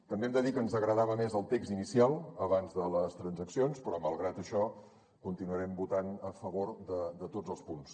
també hem de dir que ens agradava més el text inicial abans de les transaccions però malgrat això continuarem votant a favor de tots els punts